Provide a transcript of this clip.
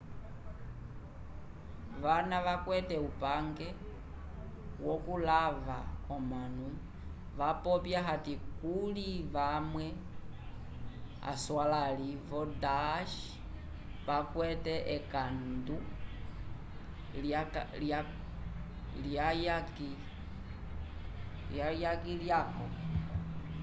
vana vakwete upangwe wokulava omanu wapopya ati kuli vamwe aswalãli vo daesh isil vakwete ekandu lyuyaki lyaco